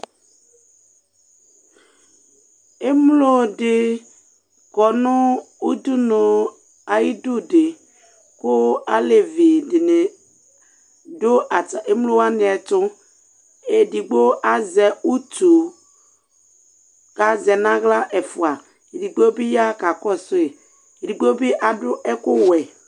Emlo di kɔnu udunu ayidu ku alevidini du emlo wani ɛtu edigbo azɛ utu kazɛ nu aɣla ɛfua edigbo bi ya kakɔsu edigbo bi adu ɛku wɛ